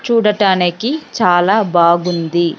చూడటానికి చాలా బాగుంది.